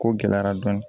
Ko gɛlɛyara dɔɔni